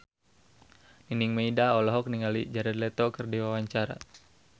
Nining Meida olohok ningali Jared Leto keur diwawancara